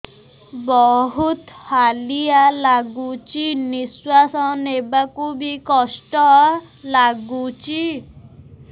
ବହୁତ୍ ହାଲିଆ ଲାଗୁଚି ନିଃଶ୍ବାସ ନେବାକୁ ଵି କଷ୍ଟ ଲାଗୁଚି